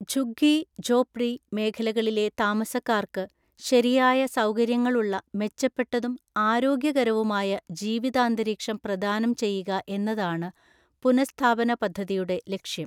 ഝുഗ്ഗി ഝോപ്ഡി മേഖലകളിലെ താമസക്കാർക്കു ശരിയായ സൗകര്യങ്ങളുള്ള മെച്ചപ്പെട്ടതും ആരോഗ്യകരവുമായ ജീവിതാന്തരീക്ഷം പ്രദാനംചെയ്യുക എന്നതാണു പുനഃസ്ഥാപനപദ്ധതിയുടെ ലക്ഷ്യം.